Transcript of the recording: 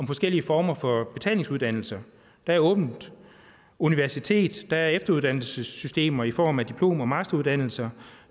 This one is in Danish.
forskellige former for betalingsuddannelse der er åbent universitet der er efteruddannelsessystemer i form af diplom og masteruddannelser